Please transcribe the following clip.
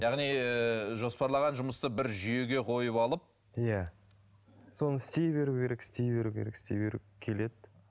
яғни ыыы жоспарлаған жұмысты бір жүйеге қойып алып иә соны істей беру керек істей беру керек істей беру келеді